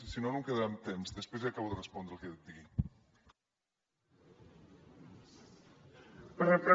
si no no em quedarà temps després li acabo de respondre el que he de dir